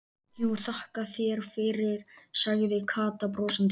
Jú, þakka þér fyrir sagði Kata brosandi.